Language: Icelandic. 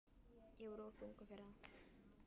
Ég var of þungur fyrir það.